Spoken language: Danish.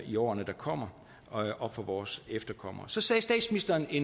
i årene der kommer og for vores efterkommere så kom statsministeren i